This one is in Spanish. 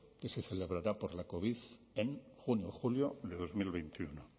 que se celebrará por la covid en junio o julio de dos mil veintiuno